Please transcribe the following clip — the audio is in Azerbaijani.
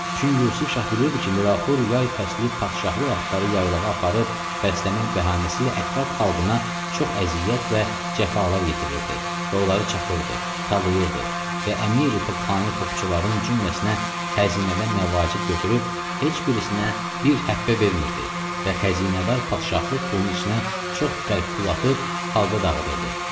Çün Yusif Şah bilirdi ki, Mirafxur hər yay fəslin padşahlıq atları yaylağa aparıb bəsləmək bəhanəsi ilə ətraf xalqına çox əziyyət və cəfalar yetirirdi və onları çapırdı, talayırdı və əmiri topxana topçuların cümləsinə xəzinədən məvacib götürüb, heç birisinə bir həppə vermirdi və xəzinədar padşahlıq pulun içinə çox qərib pul atıb xalqa dağıdırdı.